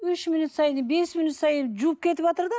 үш минут сайын бес минут сайын жуып кетіватыр да